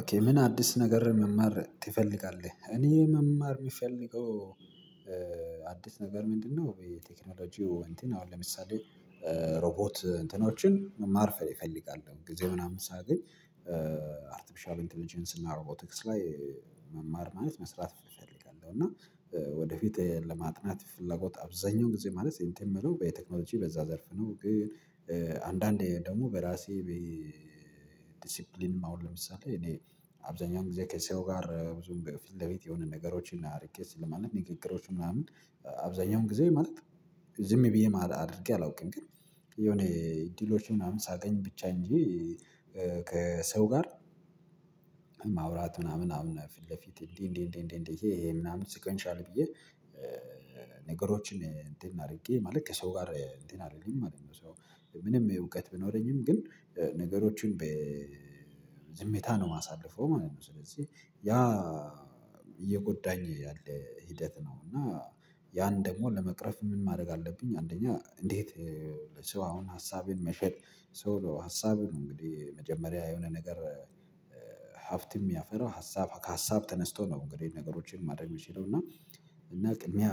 ኦኬ ምን አዲስ ነገር መማር ትፈልጋለህ እኔ መማር የሚፈልገው አዲስ ነገር ምንድነው? በቴክኖሎጂው እንትን አሁን ለምሳሌ ሮቦት እንትኖችን መማር እፈልጋለሁ። ጊዜ ምናምን ሳገኝ አርትፍሻል ኢንተልጀንሲ እና ሮቦቴክስ ላይ መማር ማለት መስራት እፈልጋለሁ እና ወደፊት ለማጥናት ፍላጎት አብዛኛው ጊዜ ማለት ሴንቲም የምለው በየቴክኖሎጂ በዛ ዘርፍ ነው። ግን አንዳንዴ ደግሞ በራሴ ዲሲፕሊን አሁን ለምሳሌ እኔ አብዛኛው ጊዜ ከሰው ጋር ብዙም በፊት ለቤት የሆነ ነገሮችን እና ሪኬት ስለማለት ንግግሮች ምናምን አብዛኛውን ጊዜ ማለት ዝም ብዬ አድርጌ አላውቅም። ግን የሆነ ዲሎች ምናምን ሳገኝ ብቻ እንጂ ከሰው ጋር ማውራት ምናምን ምናምን ፊት ለፊት እንዴ እንዴ እንዴ እንዴ ይሄ ምናምን ሲቆይንሻል ብዬ ነገሮችን እንትን አድርጌ ማለት ከሰው ጋር እንትን አይደለሁም አለኝ። ምንም እውቀት ብኖረኝም ግን ነገሮችን ዝምታ ነው የማሳልፈው ማለት። ስለዚህ ያ እየጎዳኝ ያለ ሂደት ነው። እና ያን ደግሞ ለመቅረፍ ምን ማድረግ አለብኝ? አንደኛ እንዴት ሰው አሁን ሀሳቤን መሸጥ ሰው ሀሳቤን እንግዲህ መጀመሪያ የሆነ ነገር ሀፍትም ያፈረው ሀሳብ ከሀሳብ ተነስቶ ነው እንግዲህ ነገሮችን ማድረግ የምችለው እና እና ቅድሚያ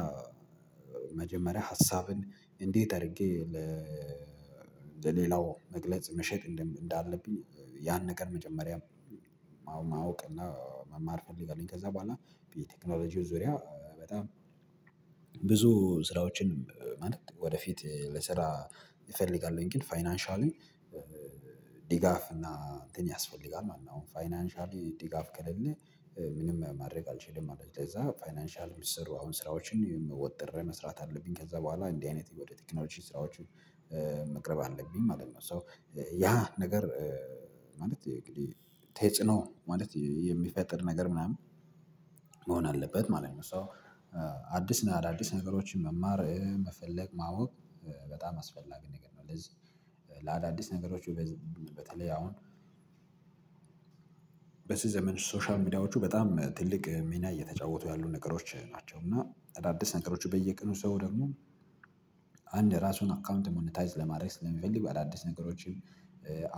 መጀመሪያ ሀሳብን እንዴት አድርጌ ለ ለሌላው መግለጽ መሸጥ እንዳለብኝ ያን ነገር መጀመሪያም ማወቅ እና መማር ፈልጋለሁኝ። ከዛ በኋላ የቴክኖሎጂው ዙሪያ በጣም ብዙ ስራዎችን ማለት ወደፊት ለስራ እፈልጋለሁኝ ግን ፋይናንሻሊ ዲጋፍ እና እንትን ያስፈልጋል ማለት ነው። አሁን ፋይናንሻሊ ዲጋፍ ከሌለ ምንም ማድረግ አልችልም ማለት ነው። ስለዚህ ለዛ ፋይናንሻል ስሩ አሁን ስራዎችን ወጥረህ መስራት አለብኝ ከዛ በኋላ እንዲህ አይነት ወደ ቴክኖሎጂ ስራዎቹ መቅረብ አለብኝ ማለት ነው። ሶ ያ ነገር ማለት ተጽኖ ማለት የሚፈጥር ነገር ምናምን መሆን አለበት ማለት ነው። ሶ አዲስ ነገሮችን መማር መፈለግ ማወቅ በጣም አስፈላጊ ነገር ነው። ለዚህ ለአዳዲስ ነገሮች በተለይ አሁን በስም ዘመን ሶሻል ሚዲያዎቹ በጣም ትልቅ ሚና እየተጫወቱ ያሉ ነገሮች ናቸው። እና አዳዲስ ነገሮች በየቀኑ ሰው ደግሞ አንድ ራሱን አካውንት ሞኒታይዝ ለማድረግ ስለሚፈልግ በአዳዲስ ነገሮች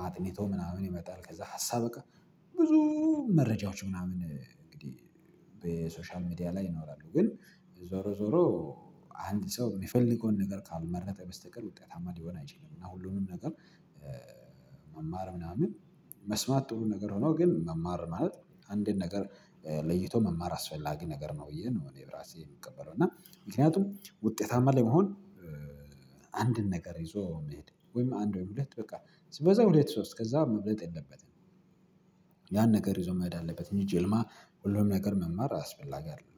አጥንቶ ምናምን ይመጣል። ከዛ ሀሳብ በቃ ብዙ መረጃዎች ምናምን እንግዲህ በሶሻል ሚዲያ ላይ ይኖራሉ ግን ዞሮ ዞሮ አንድ ሰው የሚፈልገውን ነገር ካልመረጠ በስተቀር ውጤታማ ሊሆን አይችልም። እና ሁሉንም ነገር መማር ምናምን መስማት ጥሩ ነገር ሆኖ ግን መማር ማለት አንዴን ነገር ለይቶ መማር አስፈላጊ ነገር ነው። ብዬ ነው እኔ ብራሴ የምቀበለው እና ምክንያቱም ውጤታማ ለመሆን አንድን ነገር ይዞ መሄድ ወይም አንድ ወይም ሁለት በቃ በዛ ሁለት ሶስት ከዛ መብለጥ የለበትም። ያን ነገር ይዞ መሄድ አለበት እንጂ ጀምላ ሁሉም ነገር መማር አስፈላጊ አይደለም